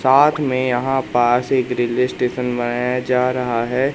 साथ में यहां पास एक रेलवे स्टेशन बनाया जा रहा है।